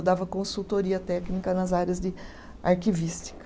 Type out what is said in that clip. Eu dava consultoria técnica nas áreas de arquivística.